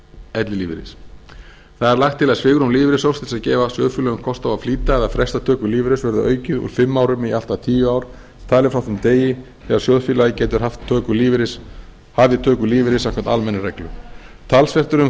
ellilífeyris það er lagt til að svigrúm lífeyrissjóðs til þess að gefa sjóð félögum kost á að flýta eða fresta töku lífeyris verði aukið úr fimm árum í allt að tíu ár talið frá þeim degi þegar sjóðfélagi getur hafið töku lífeyris samkvæmt almennum reglum talsvert er